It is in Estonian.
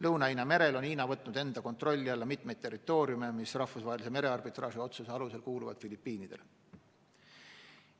Lõuna-Hiina merel on Hiina võtnud enda kontrolli alla mitu territooriumi, mis rahvusvahelise merearbitraaži otsuse alusel kuuluvad Filipiinidele.